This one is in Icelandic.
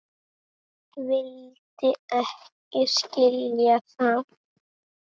Vildi ekki skilja það.